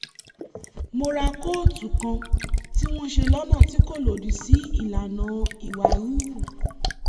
mo ra kóòtù kan tí wọ́n ṣe lọ́nà tí kò lòdì sí ìlànà ìwà híhù